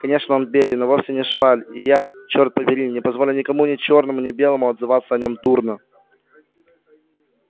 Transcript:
конечно он беден но вовсе не шваль и я чёрт побери не позволю никому ни чёрному ни белому отзываться о нём дурно